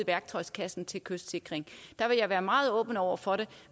værktøjskassen til kystsikring der vil jeg være meget åben over for det